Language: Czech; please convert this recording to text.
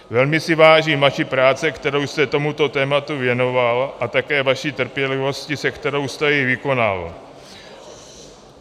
Velmi si vážím vaší práce, kterou jste tomuto tématu věnoval a také vaší trpělivosti, se kterou jste ji vykonal.